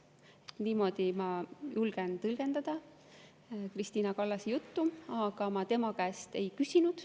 Niimoodi ma julgen tõlgendada Krist`ina Kallase juttu, aga ma tema käest ei ole küsinud.